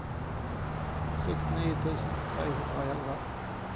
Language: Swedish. sextionio tusen trehundraelva